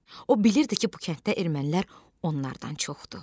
O bilirdi ki, bu kənddə ermənilər onlardan çoxdur.